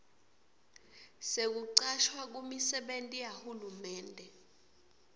sekucashwa kumisebenti yahulumende